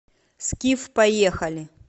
скиф поехали